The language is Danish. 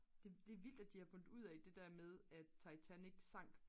det vildt at de har fundet ud af det der med at titanic sank